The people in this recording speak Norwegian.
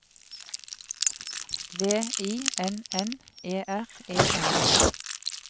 V I N N E R E N